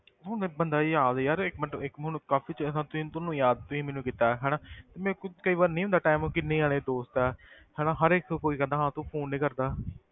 ਹੁਣ ਬੰਦਾ ਯਾਦ ਯਾਰ ਇੱਕ ਮਿੰਟ ਇੱਕ ਮੈਨੂੰ ਕਾਫ਼ੀ ਚਿਰ ਹਾਂ ਤੂੰ ਤੈਨੂੰ ਯਾਦ ਤੁਸੀਂ ਮੈਨੂੰ ਕੀਤਾ ਹੈ ਹਨਾ ਤੇ ਮੇਰੇ ਕੋਲ ਕਈ ਵਾਰ ਨਹੀਂ ਹੁੰਦਾ time ਕਿੰਨੇ ਜਾਣੇ ਦੋਸਤ ਹੈ ਹਨਾ ਹਰ ਇੱਕ ਕੋਈ ਕਹਿੰਦਾ ਹੋਣਾ ਤੂੰ phone ਨੀ ਕਰਦਾ